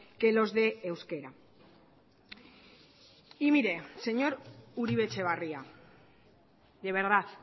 que los de euskera y mire señor uribe etxebarria de verdad